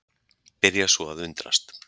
Byrja svo að undrast.